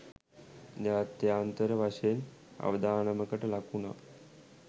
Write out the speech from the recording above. ජාත්‍යාන්තර වශයෙන් අවදානමකට ලක් වුනා